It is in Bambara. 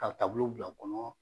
ka bila o kɔnɔ.